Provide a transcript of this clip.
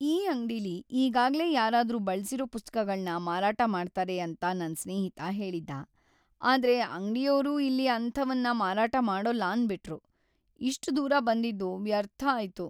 ಈ ಅಂಗ್ಡಿಲಿ ಈಗಾಗ್ಲೇ ಯಾರಾದ್ರೂ ಬಳ್ಸಿರೋ ಪುಸ್ತಕಗಳ್ನ ಮಾರಾಟ ಮಾಡ್ತಾರೆ ಅಂತ ನನ್‌ ಸ್ನೇಹಿತ ಹೇಳಿದ್ದ. ಆದ್ರೆ ಅಂಗ್ಡಿಯೋರು ಇಲ್ಲಿ ಅಂಥವನ್ನ ಮಾರಾಟ ಮಾಡೋಲ್ಲ ಅಂದ್ಬಿಟ್ರು. ಇಷ್ಟ್ ದೂರ ಬಂದಿದ್ದು ವ್ಯರ್ಥ ಆಯ್ತು.